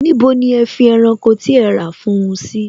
Níbo ni ẹ fi ẹranko tí ẹ rà fún un sí?